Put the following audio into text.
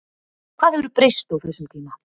Hvað hefur breyst á þessum tíma?